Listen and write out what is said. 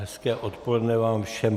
Hezké odpoledne vám všem.